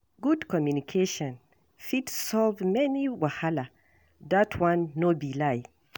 Good communication fit solve many wahala; dat one no be lie.